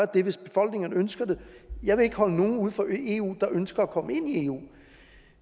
det hvis befolkningerne ønsker det jeg vil ikke holde nogen uden for eu der ønsker at komme ind i eu